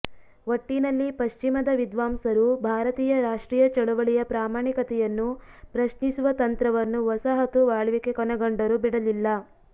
ಒಟ್ಟಿನಲ್ಲಿ ಪಶ್ಚಿಮದ ವಿದ್ವಾಂಸರು ಭಾರತೀಯ ರಾಷ್ಟ್ರೀಯ ಚಳುವಳಿಯ ಪ್ರಾಮಾಣಿಕತೆಯನ್ನು ಪ್ರಶ್ನಿಸುವ ತಂತ್ರವನ್ನು ವಸಾಹತು ಆಳ್ವಿಕೆ ಕೊನೆಗೊಂಡರೂ ಬಿಡಲಿಲ್ಲ